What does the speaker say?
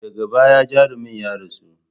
Daga baya jarumin ya rasu.